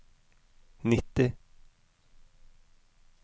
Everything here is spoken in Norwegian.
nitti